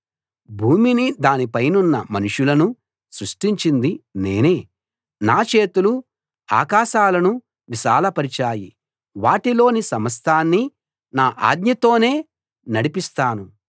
భూమినీ దానిపైనున్న మనుషులనూ సృష్టించింది నేనే నా చేతులు ఆకాశాలను విశాలపరిచాయి వాటిలోని సమస్తాన్నీ నా ఆజ్ఞతోనే నడిపిస్తాను